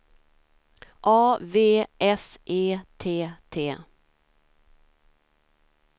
A V S E T T